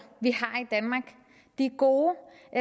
og